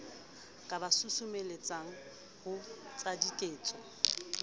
ka ba susumelletsang ho etsadiketso